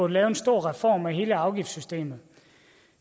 lave en stor reform af hele afgiftssystemet